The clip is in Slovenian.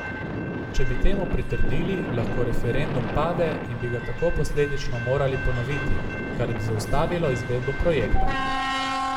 Če bi temu pritrdili, lahko referendum pade in bi ga tako posledično morali ponoviti, kar bi zaustavilo izvedbo projekta.